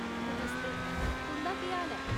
नमस्ते, तुं'दा केह् हाल ऐ ?